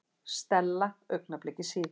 Stella augnabliki síðar.